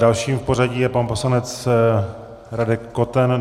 Dalším v pořadí je pan poslanec Radek Koten.